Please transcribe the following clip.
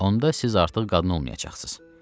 Onda siz artıq qadın olmayacaqsınız.